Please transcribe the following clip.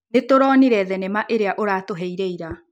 Nĩtũronire thenema ĩrĩa ũratũheire ira